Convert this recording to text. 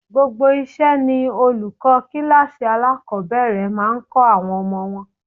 Gbogbo iṣẹ́ ni olùkọ́ kíláàsì alákọ̀ọ́bẹ̀rẹ̀ máa ń kọ àwọn ọmọ wọn.